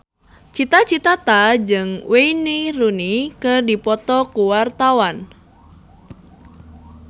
Cita Citata jeung Wayne Rooney keur dipoto ku wartawan